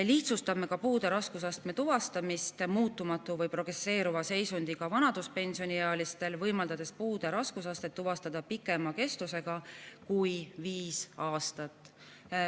Lihtsustame ka puude raskusastme tuvastamist muutumatu või progresseeruva seisundiga vanaduspensioniealistel, võimaldades puude raskusastet tuvastada pikemaks ajaks kui viis aastat.